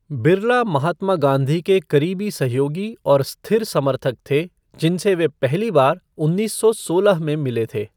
बिरला महात्मा गांधी के करीबी सहयोगी और स्थिर समर्थक थे, जिनसे वे पहली बार उन्नीस सौ सोलह में मिले थे।